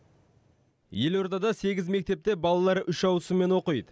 елордада сегіз мектепте балалар үш ауысыммен оқиды